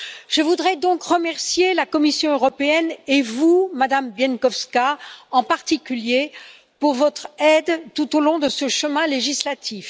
Je voudrais donc remercier la Commission européenne et vous, Madame Bieńkowska, en particulier, pour votre aide tout au long de ce chemin législatif.